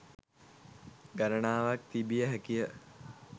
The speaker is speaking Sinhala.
ගණනාවක් තිබිය හැකිය